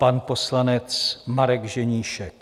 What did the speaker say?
Pan poslanec Marek Ženíšek.